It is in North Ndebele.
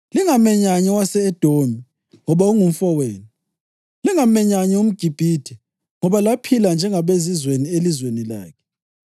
Lingamenyanyi owase-Edomi, ngoba ungumfowenu. Lingamenyanyi umGibhithe, ngoba laphila njengabezizweni elizweni lakhe.